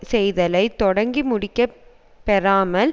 செய்தலை தொடங்கி முடிக்கப் பெறாமல்